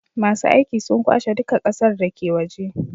masu aiki sun kwashe duka ƙasar dake waje